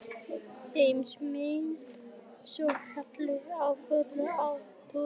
Heimsmynd svo heil og full af trúnaðartrausti.